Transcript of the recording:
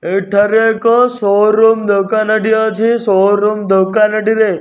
ଏଠାରେ ଏକ showroom ଦୋକାନ ଟିଏ ଅଛି ଶୋ ରୁମ୍ ଦୋକାନ ଟିରେ --